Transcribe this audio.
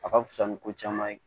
A ka fisa ni ko caman ye